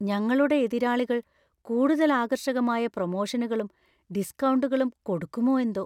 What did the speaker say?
ഞങ്ങളുടെ എതിരാളികൾ കൂടുതൽ ആകർഷകമായ പ്രമോഷനുകളും, ഡിസ്‌കൗണ്ടുകളും കൊടുക്കുമോ എന്തോ!